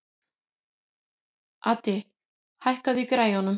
Addi, hækkaðu í græjunum.